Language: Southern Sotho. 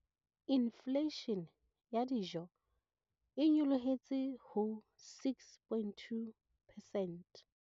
Infleishene ya dijo e nyolohetse ho 6.2 percent.